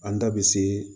An da bɛ se